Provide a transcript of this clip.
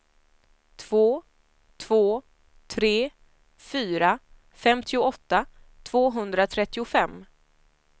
två två tre fyra femtioåtta tvåhundratrettiofem